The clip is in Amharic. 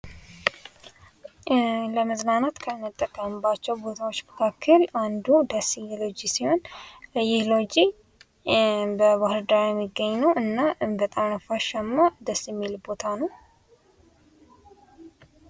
ለመዝናናት ከምንጠቀምባቸው ቦታዎች መካከል አንዱ ወሴ ሎጂ ሲሆን ይህ ሎጂ በባህርዳር የሚገኝ ነው እና በጣም ነፋሻማ ደስ የሚል ቦታ ነው።